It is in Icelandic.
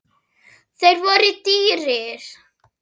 Þeir voru dýrir.